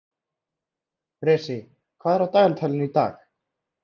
Bresi, hvað er á dagatalinu í dag?